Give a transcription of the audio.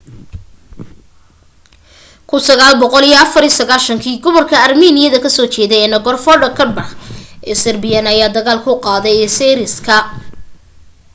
1994 kii gobolka armiiniya ka soo jeeda ee nagorno-karbakh ee azerbaijan ayaa dagaal ku qaaday azeriska